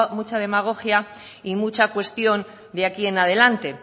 mucha demagogia y mucha cuestión de aquí en adelante